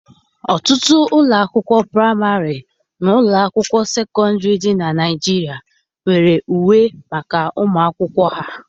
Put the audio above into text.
Ọtụtụ ụlọ akwụkwọ praịmarị na ụlọ akwụkwọ sekọndrị dị na Naịjiria nwere uwe maka ụmụ akwụkwọ ha